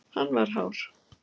Hann var hár.